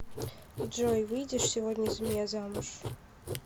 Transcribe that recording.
джой выйдешь сегодня за меня замуж